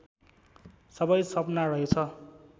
सबै सपना रहेछ